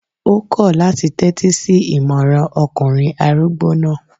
Ó kọ̀ láti tẹ́tí sí ìmọràn ọkùnrin arúgbó náà